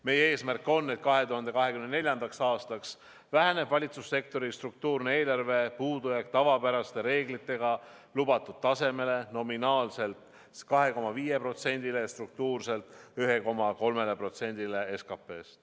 Meie eesmärk on, et 2024. aastaks väheneb valitsussektori struktuurne eelarvepuudujääk tavapäraste reeglitega lubatud tasemele: nominaalselt siis 2,5%-le, struktuurselt 1,3%-le SKP-st.